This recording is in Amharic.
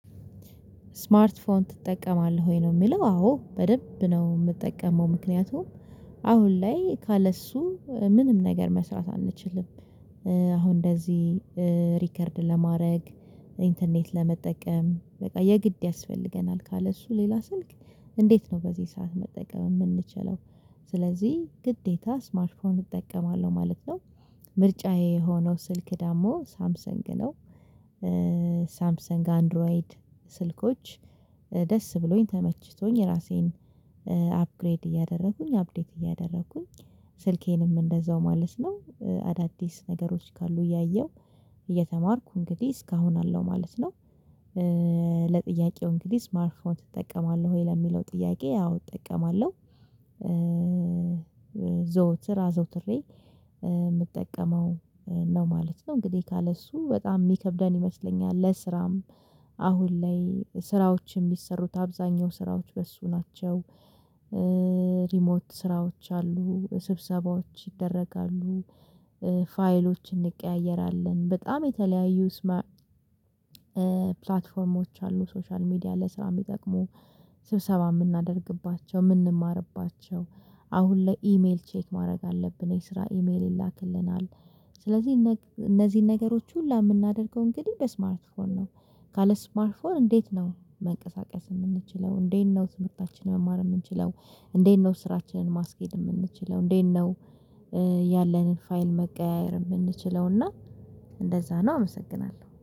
ስማርት ፎን ትጠቀማለህ ወይ ነው? የሚለው አዎ በደንብ ነው የምጠቀመው ምክንያቱም አሁን ላይ ካለ እሱ ምንም ነገር መስራት አንችልም። አሁን እንደዚህ ሪከርድ ለማድረግ ኢንተርኔት ለመጠቀም በቃ የግድ ያስፈልገናል ካለ እሱ ሌላ ስልክ። እንዴት ነው በዚህ ሰዓት መጠቀም የምንችለው? ስለዚህ ግዴታ ስማርት ፎዎን እጠቀማለሁ ማለት ነው። ምርጫዬ የሆነው ስልክ ደግሞ ሳምሰንግ ነው። ሳምሰንግ አንድሮይድ ስልኮች ደስ ብሎኝ ተመችቶኝ ራሴን አፕግሬድ እያደረኩኝ አፕዴት እያደረኩኝ። ስልኬንም እንደዛው ማለት ነው አዳዲስ ነገሮች ካሉ እያየሁ እየተማርኩ እንግዲህ እስካሁን አለው ማለት ነው። ለጥያቄው እንግዲህ ስማርት ፎን ትጠቀማለህ ወይ ለሚለው ጥያቄ? አዎ እጠቀማለሁ። ዘውትር አዘውትሬ የምጠቀመው ነው ማለት ነው። እንግዲህ ካለእሱ በጣም የሚከብደን ይመስለኛል። ለስራም አሁን ላይ ስራዎችን ቢሰሩት አብዛኛው ስራዎች በሱ ናቸው። ሪሞት ስራዎች አሉ ስብሰባዎች ይደረጋሉ። ፋይሎች እንቀያየራለን በጣም የተለያዩ ስማርት ማይ ፕላትፎርሞች አሉ። ሶሻል ሚዲያ ለስራ የሚጠቅሙ ስብሰባ የምናደርግባቸው የምንማርባቸው። አሁን ላይ ኢሜል ቼክ ማድረግ አለብን የስራ ኢሜል ይላክልናል። ስለዚህ እነዚህን ነገሮች ሁላ የምናደርገው እንግዲህ በስማርት ፎን ነው። ካለ ስማርት ፎን እንዴት ነው መንቀሳቀስ የምንችለው? እንዴት ነው ትምህርታችንን መማር የምንችለው? እንዴት ነው ስራችንን ማስኬድ የምንችለው እንዴት ነው? ያለንን ፋይል መቀያየር የምንችለው እና እንደዛ ነው አመሰግናለሁ